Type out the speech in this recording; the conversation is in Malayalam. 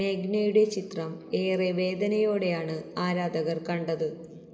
മേഘ്നയുടെ ചിത്രം ഏറെ വേദനയോടെയാണ് ആരാധകർ കണ്ടത്